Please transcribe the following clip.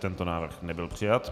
Tento návrh nebyl přijat.